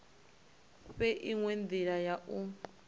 fhe inwe ndila ya u